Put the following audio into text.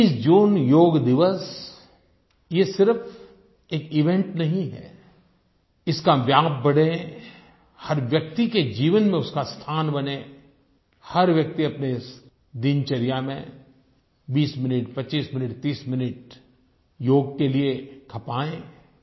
21 जून योग दिवस ये सिर्फ एक इवेंट नहीं है इसका व्याप बढ़े हर व्यक्ति के जीवन में उसका स्थान बने हर व्यक्ति अपनी दिनचर्या में 20 मिनट 25 मिनट 30 मिनट योग के लिए खपाए